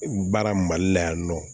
Baara mali la yan nɔ